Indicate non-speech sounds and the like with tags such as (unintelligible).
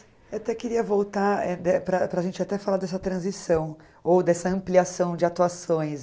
Eu até queria voltar (unintelligible) para para a gente até falar dessa transição, ou dessa ampliação de atuações.